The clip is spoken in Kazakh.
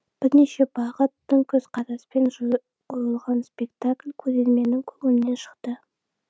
өзгеше бағыт тың көзқараспен қойылған спектакль көрерменнің көңілінен шықты